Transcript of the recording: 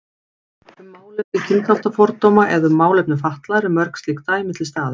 Um málefni kynþáttafordóma eða um málefni fatlaðra eru mörg slík dæmi til staðar.